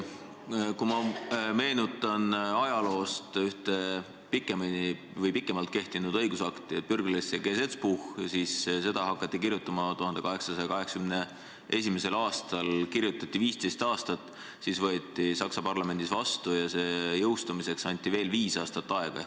Ma meenutan ajaloost ühte pikemalt kehtinud õigusakti "Bürgerliches Gesetzbuchi": seda hakati kirjutama 1881. aastal ja kirjutati 15 aastat, siis võeti see Saksa parlamendis vastu ja jõustumiseks anti veel viis aastat aega.